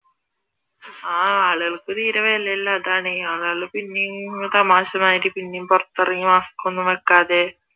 ആഹ് ആളുകൾക്ക് തീരെ വിലയില്ല അതാണ് ആളുകൾ പിന്നെയും താമശമാതിരി പിന്നേം പുറത്തിറങ്ങി ഇറങ്ങി mask ഒന്നും വെക്കാതെ